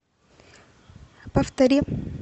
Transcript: повтори